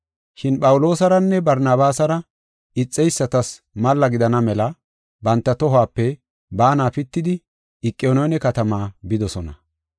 Shin Phawuloosaranne Barnabaasara ixeysatas malla gidana mela banta tohuwape baana pitidi Iqoniyoone katama bidosona.